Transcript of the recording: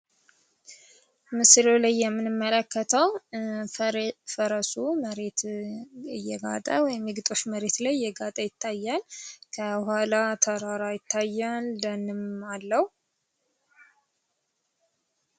ምስሉ ላይ የምንመለከተው ፈረሱ መሬት እየጋጠ ወይም የግጦሽ መሬት ላይ እየጋጠ ይታያል ከኃላ ተራራ ይታያል ደንም አለው።